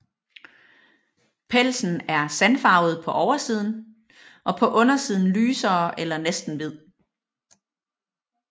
Pelsen er sandfarvet på oversiden og på undersiden lysere eller næsten hvid